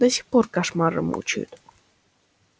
до сих пор кошмары мучают